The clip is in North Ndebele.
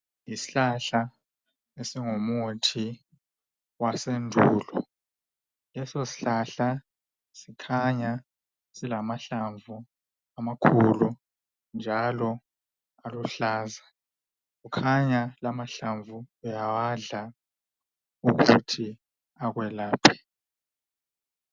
Isihlahla esingumuthi wasendulo leso sihlahla sikhanya silamahlamvu amakhulu njalo aluhlaza kukhanya la amahlamvu uyawadla ukuthi akwelaphe